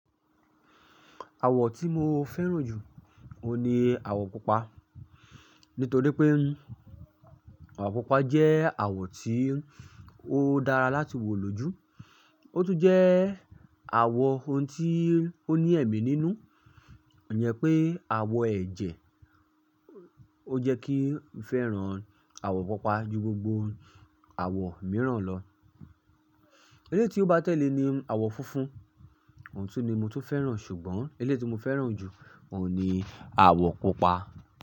Àwọ̀ tí mo fẹ́ràn jù, òun ni àwọ̀ Pupa. Nítorí pé àwọ̀ Pupa jẹ́ àwọ̀ tí ó dára láti wò lójú, ó tún jẹ́ àwọ̀ ohun tí ó ní ẹ̀mí nínú. Kò jẹ pé àwọ̀ ẹ̀jẹ̀. Ó jẹ́ kí n fẹ́ràn àwọ̀ Pupa ju gbogbo àwọ̀ mìíràn lọ. Eléyìí ti ó bá tẹ̀lé ni àwọ̀ funfun, òun tún ni mo tún fẹ́ràn ṣùgbọ́n eléyìí ti mo fẹ́ràn jù, òun ni àwọ̀ pupa.